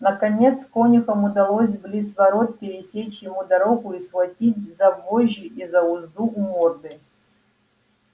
наконец конюхам удалось близ ворот пересечь ему дорогу и схватить за вожжи и за узду у морды